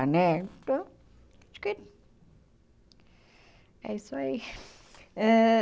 Né, acho que é isso aí. Ãh